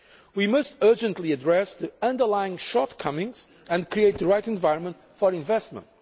We must urgently address the underlying shortcomings and create the right environment for investment.